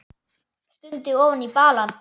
Stundi ofan í balann.